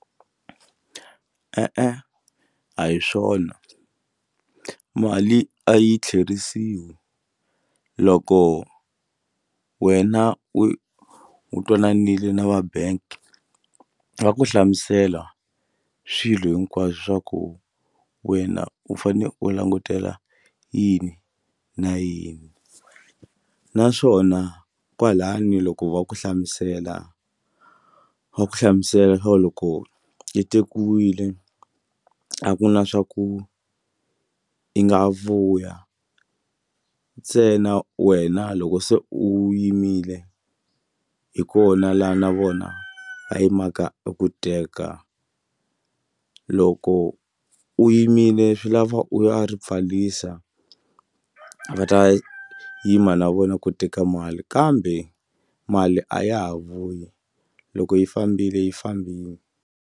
E-e, a hi swona mali a yi tlheriseriwi loko wena u u twananile na va bank va ku hlamusela swilo hinkwaswo swa ku wena u fane u langutela yini na yini naswona kwalani loko va ku hlamusela va ku hlamusela loko yi tekiwile a ku na swa ku u yi nga vuya ntsena wena loko se u yimile hi kona laha na vona va yimaka ku teka loko u yimile swi lava u ya ri pfarisa va ta yima na vona ku teka mali kambe mali a ya ha vuyi loko yi fambile yi fambile.